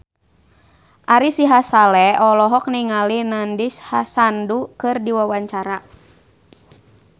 Ari Sihasale olohok ningali Nandish Sandhu keur diwawancara